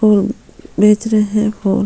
फूल बेच रहै है फूल --